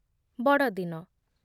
ବଡ଼ଦିନ